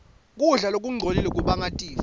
kudla lokungcolile kubanga tifo